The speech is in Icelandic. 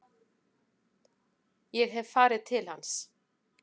Ég hef farið til hans.